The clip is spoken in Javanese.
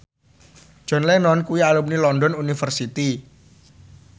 John Lennon kuwi alumni London University